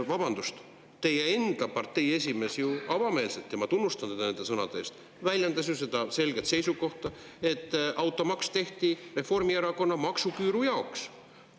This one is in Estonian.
Vabandust, teie enda partei esimees ju avameelselt – ja ma tunnustan teda nende sõnade eest – väljendas selget seisukohta, et automaks tehti Reformierakonna maksuküüru jaoks.